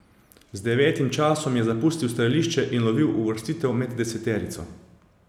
Z devetim časom je zapustil strelišče in lovil uvrstitev med deseterico.